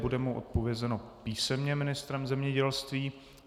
Bude mu odpovězeno písemně ministrem zemědělství.